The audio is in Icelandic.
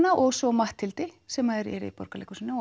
og svo Matthildi sem er í Borgarleikhúsinu